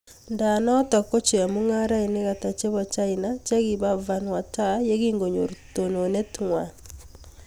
Ngaa notok ko chemung'arainik ataa chepo china chekipaa Vanuatu yekingonyor tononet ngwaang